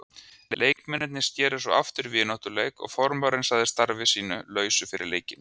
Leikmennirnir sneru svo aftur í vináttuleik og formaðurinn sagði starfi sínu lausu fyrir leikinn.